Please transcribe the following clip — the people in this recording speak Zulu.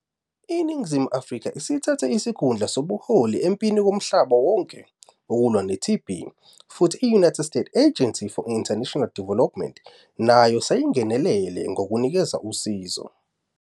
INingizimu Afrika isithathe isikhundla sobuholi empini yomhlaba wonke yokulwa ne-TB, futhi iUnited States Agency for International Development, USAID, nayo seyingenelele ngokunikeza usizo.